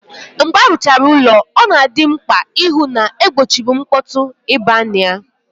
Mgbe aruchara ụlọ, ọ na-adị mkpà ịhụ na-egbochiri mkpọtụ ị baa na ya.